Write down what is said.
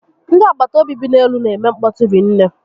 Ndị agbataobi bi n'elu n'eme nkpọtu rinne